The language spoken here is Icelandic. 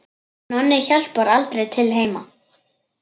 Nonni hjálpar aldrei til heima.